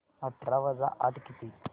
अठरा वजा आठ किती